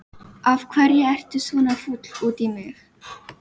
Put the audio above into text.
Af hverju ertu svona fúll út í mig?